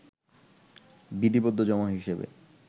বিধিবদ্ধ জমা হিসেবে